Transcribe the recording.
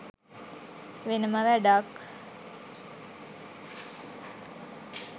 වෙනම වැඩක්.